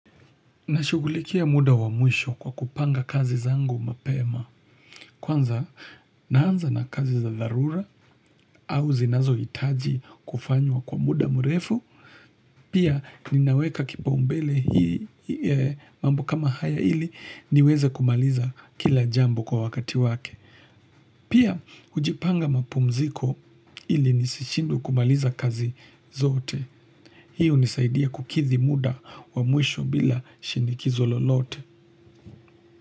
Nashughulikia muda wa mwisho kwa kupanga kazi zangu mapema. Kwanza naanza na kazi za dharura au zinazoitaji kufanywa kwa muda mrefu. Pia ninaweka kipaumbele hii mambo kama haya ili niweze kumaliza kila jambo kwa wakati wake. Pia hujipanga mapumziko ili nisishindwe kumaliza kazi zote. Hii hunisaidia kukidhi muda wa mwisho bila shinikizo lolote.